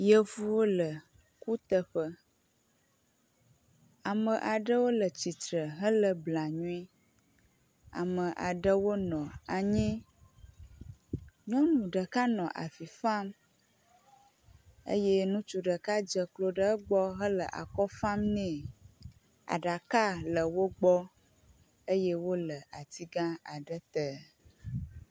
Yevuwo le kuteƒe, ame aɖewo le tsitre hele blanui, ame aɖwo nɔ anyi, nyɔnu ɖeka nɔ avi fam eye ŋutsu ɖeka dzeklo ɖe egbɔ hele akɔ fam nɛ, aɖaka le wogbɔ eye wole atiga aɖe te